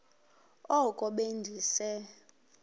oko be ndise